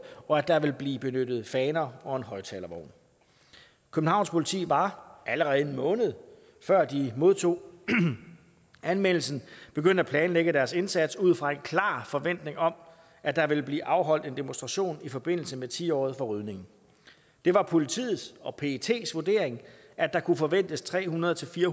og at der ville blive benyttet faner og en højtalervogn københavns politi var allerede en måned før de modtog anmeldelsen begyndt at planlægge deres indsats ud fra en klar forventning om at der ville blive afholdt en demonstration i forbindelse med ti året for rydningen det var politiets og pets vurdering at der kunne forventes tre hundrede til fyrre